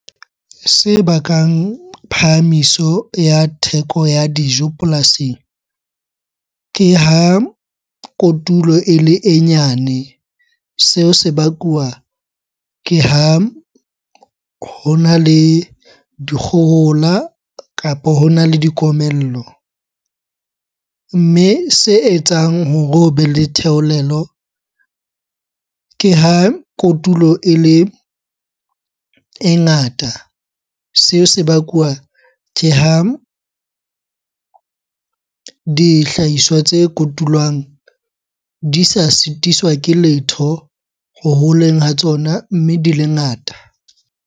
Se bakang phahamiso ya theko ya dijo polasing, ke ha kotulo ele e nyane. Seo se bakuwa ke ha hona le dikgohola kapo hona le dikomello. Mme se etsang hore hobe le theolelo ke ha kotulo ele e ngata. Seo se bakwa ke ha dihlahiswa tse kotulwang di sa sitiswa ke letho ho holeng ha tsona, mme di le ngata.